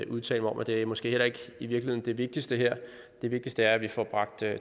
udtale mig om og det er måske i virkeligheden det vigtigste her det vigtigste er at vi får bragt